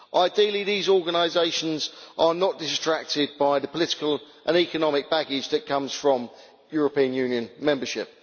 Ideally, these organisations are not distracted by the political and economic baggage that comes from European Union membership.